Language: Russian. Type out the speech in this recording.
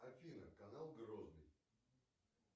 афина канал грозный